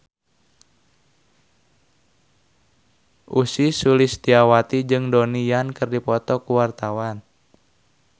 Ussy Sulistyawati jeung Donnie Yan keur dipoto ku wartawan